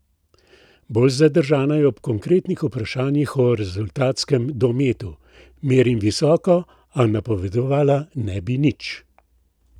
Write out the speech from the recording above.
Bolj zadržana je ob konkretnih vprašanjih o rezultatskem dometu: 'Merim visoko, a napovedovala ne bi nič.